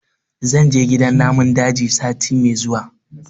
zan je gidan namun daji sati me zuwa